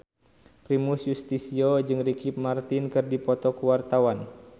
Primus Yustisio jeung Ricky Martin keur dipoto ku wartawan